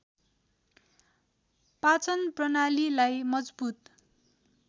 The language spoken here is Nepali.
पाचन प्रणालीलाई मजबुत